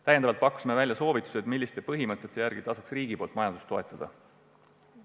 Samuti pakkusime välja soovitused, milliste põhimõtete järgi tasub riigil majandust toetada.